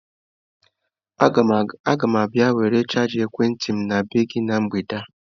Agam abia were chaja ekwenti m n'ebe gi na mgbede a.